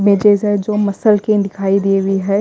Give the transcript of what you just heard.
में जैसा जो मसल के दिखाई दे रही है।